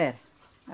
Era.